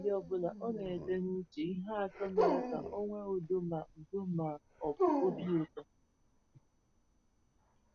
N’abalị ọ bụla, ọ na-ede n’uche ihe atọ mere ka o nwee udo ma udo ma ọ bụ obi ụtọ.